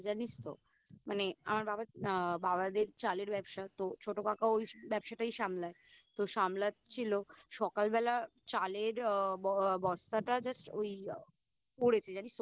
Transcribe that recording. জানিস তো মানে আমার বাবাদের চালের ব্যবসা তো ছোট কাকা ওই ব্যবসাটাই সামলায় তো সামলাচ্ছিলো সকালবেলা চালের বস্তাটা Just ওই পড়েছে জানিস তো